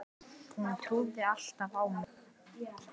Hún trúði alltaf á mig.